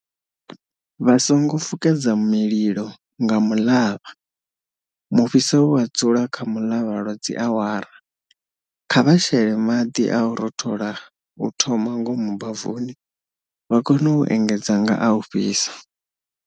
Vha songo fukedza mililo nga muḽavha. Mufhiso u a dzula kha muḽavha lwa dziawara. Kha vha shele maḽi a u rothola u thoma ngomu bavuni, vha kone u engedza nga a u fhisa.